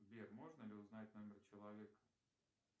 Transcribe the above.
сбер можно ли узнать номер человека